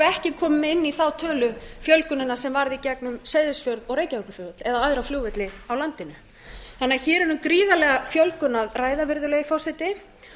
ekki komin með inn í þá tölu fjölgunina sem varð í gegnum seyðisfjörð og reykjavíkurflugvöll eða aðra flugvelli á landinu hér er því um gríðarlega fjölgun að ræða virðulegi forseti